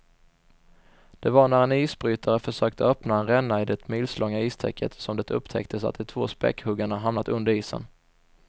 Det var när en isbrytare försökte öppna en ränna i det milslånga istäcket som det upptäcktes att de två späckhuggarna hamnat under isen.